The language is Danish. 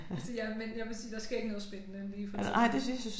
Altså ja men jeg vil sige der sker ikke noget spændende lige for tiden